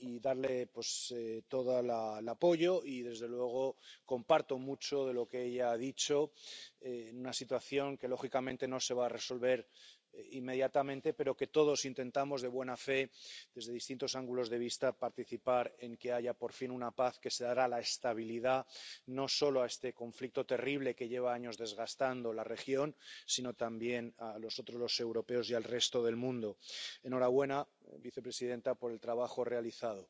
Le doy todo el apoyo, y desde luego, comparto mucho de lo que ella ha dicho en una situación que lógicamente no se va a resolver inmediatamente, pero en la que todos intentamos de buena fe, desde distintos ángulos de vista, participar para que haya por fin una paz, que dará la estabilidad no solo a la región, por este conflicto terrible que lleva años desgastándola, sino también a nosotros, los europeos, y al resto del mundo. Enhorabuena, vicepresidenta, por el trabajo realizado.